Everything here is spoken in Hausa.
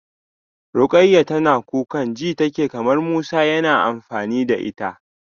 Rukayyah tana kukan ji take kamar Musa yana amfani da ita.